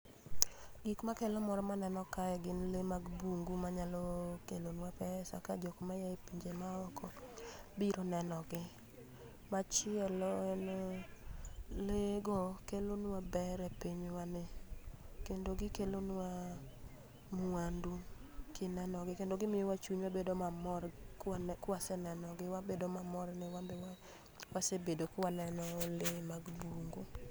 Gik makelo mor maneno kae gin lee mag bungu manyalo kelo nwa pesa ka jok ma ya e pinje maoko biro neno gi. Machielo en, lee go kelo nwa ber e pinywa ni. Kendo gikelo nwa mwandu kineno gi. Kendo gimiyo wa chunywa bedo mamor kwaneno, kwaseneno gi. Wabedo mamor ne wanbe wasebedo kwaneno lee mag bungu.